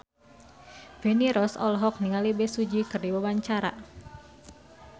Feni Rose olohok ningali Bae Su Ji keur diwawancara